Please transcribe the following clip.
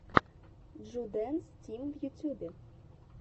джудэнс тим в ютюбе